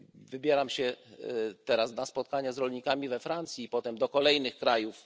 Wybieram się teraz na spotkania z rolnikami we Francji, a potem do kolejnych krajów.